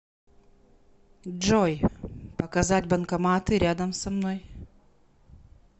джой показать банкоматы рядом со мной